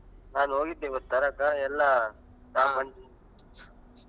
ನಾನ್ ಹೋಗಿದ್ದೆ ಇವತ್ ತರಕಾ ಎಲ್ಲಾ .